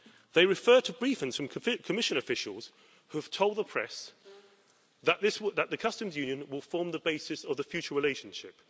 They refer to briefings from Commission officials who have told the press that the customs union will form the basis of the future relationship.